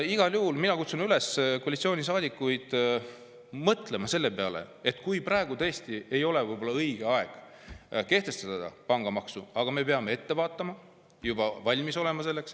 Igal juhul kutsun ma koalitsioonisaadikuid üles mõtlema selle peale, et kui praegu tõesti ei ole võib-olla õige aeg kehtestada pangamaksu, siis me peame ette vaatama ja selleks valmis olema.